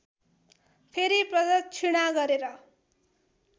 फेरि प्रदक्षिणा गरेर